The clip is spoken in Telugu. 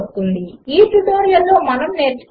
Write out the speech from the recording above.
ఈ ట్యుటోరియల్లో మనము నేర్చుకున్నది 1